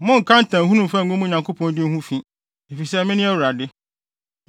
“ ‘Monnka ntamhunu mfa ngu mo Nyankopɔn din ho fi, efisɛ mene Awurade.